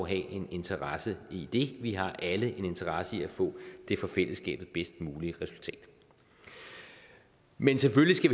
en interesse i det vi har alle en interesse i at få det for fællesskabet bedst mulige resultat men selvfølgelig skal